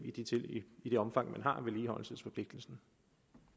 i det omfang man har vedligeholdelsesforpligtelsen